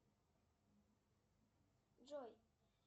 джой